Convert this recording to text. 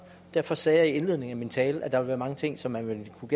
derfor sagde jeg i indledningen af min tale at der ville være mange ting som man ville kunne